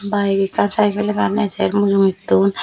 bike ekkan cycle ekkan ejer mujunge tum.